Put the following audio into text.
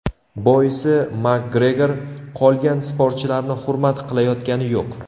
Boisi MakGregor qolgan sportchilarni hurmat qilayotgani yo‘q.